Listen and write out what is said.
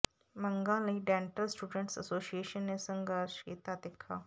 ਮੰਗਾਂ ਲਈ dental students association ਨੇ ਸੰਘਰਸ਼ ਕੀਤਾ ਤਿੱਖਾ